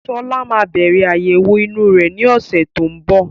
Sọlá máa bẹ̀rẹ̀ àyẹ̀wọ̀ inú rẹ ni ọ̀sẹ̀ tó ń bọ̀